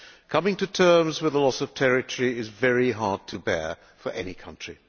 coming to terms with the loss of territory is very hard to bear for any country.